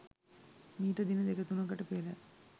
මීට දින දෙක තුනකට පෙර